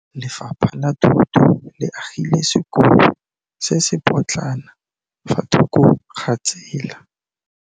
Lefapha la Thuto le agile sekôlô se se pôtlana fa thoko ga tsela.